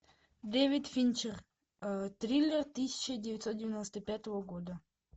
дэвид финчер триллер тысяча девятьсот девяносто пятого года